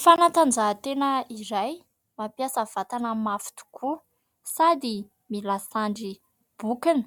Fanatanjahan-tena iray mampiasa vatana mafy tokoa sady mila sandry bokona